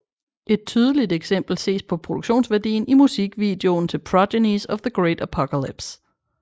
Et tydeligt eksempel ses på produktionsværdien i musikvideon til Progenies of the Great Apocalypse